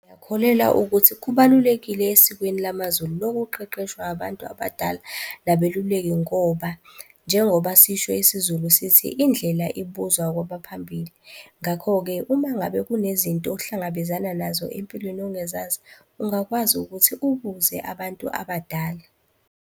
Ngiyakholelwa ukuthi kubalulekile esikweni lamaZulu lokuqeqeshwa abantu abadala nabeluleki ngoba njengoba sisho isiZulu sithi, indlela ibuzwa kwabaphambili. Ngakho-ke uma ngabe kunezinto ohlangabezana nazo empilweni ongazazi, ungakwazi ukuthi ubuze abantu abadala.